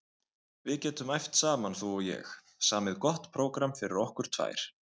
Við getum æft saman þú og ég, samið gott prógramm fyrir okkur tvær.